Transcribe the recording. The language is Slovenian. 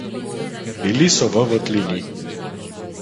Bili so v votlini.